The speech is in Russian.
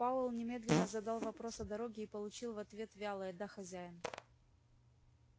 пауэлл немедленно задал вопрос о дороге и получил в ответ вялое да хозяин